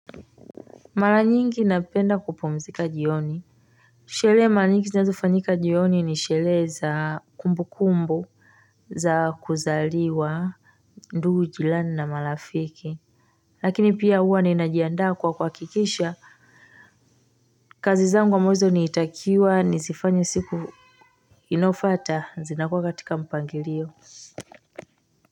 Mara nyingi napenda kupumzika jioni. Shelehe mara nyingi zinazofanyika jioni ni shelehe za kumbukumbu za kuzaliwa. Ndugu jilani na marafiki. Lakini pia huwa ninajiandaa kwa kuhakikisha kazi zangu ambazo nilitakiwa nizifanye siku inayofuata zinakuwa katika mpangilio. Kwa hivyo.